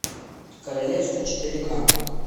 королевство четыре ка